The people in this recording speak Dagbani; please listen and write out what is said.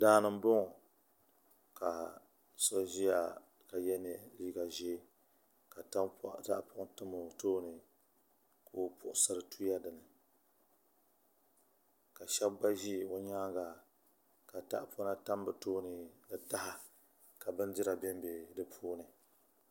Daani nboŋo ka so ʒiya ka yɛ liiga ʒiɛ ka tahapoŋ tam o tooni ka o puɣusiri tuya dinni ka shab gba ʒi o nyaanga ka tahapona tam bi tooni ni taha ka bindira bɛn bɛ di puuni